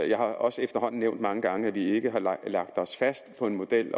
jeg har også efterhånden mange gange nævnt at vi ikke har lagt os fast på en model det